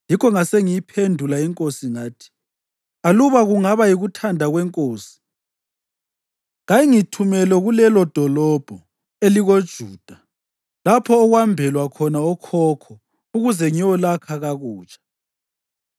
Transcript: yikho ngasengiyiphendula inkosi ngathi, “Aluba kungaba yikuthanda kwenkosi njalo nxa inceku yakho ifumene umusa emehlweni ayo, kayingithumele kulelodolobho elikoJuda lapho okwambelwa khona okhokho ukuze ngiyolakha kakutsha.”